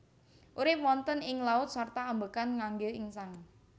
Urip wonten ing laut sarta ambekan ngangge insang